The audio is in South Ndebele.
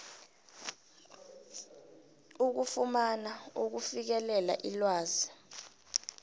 ukufumana ukufikelela ilwazi